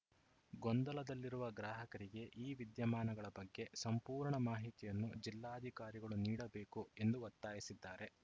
ಗೊಂದಲದಲ್ಲಿರುವ ಗ್ರಾಹಕರಿಗೆ ಈ ವಿದ್ಯಮಾನಗಳ ಬಗ್ಗೆ ಸಂಪೂರ್ಣ ಮಾಹಿತಿಯನ್ನು ಜಿಲ್ಲಾಧಿಕಾರಿಗಳು ನೀಡಬೇಕು ಎಂದು ಒತ್ತಾಯಿಸಿದ್ದಾರೆ